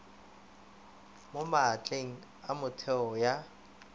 mo maatleng a metheo ya